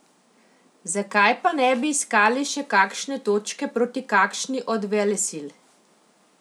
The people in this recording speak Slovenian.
Zakaj pa ne bi iskali še kakšne točke proti kakšni od velesil?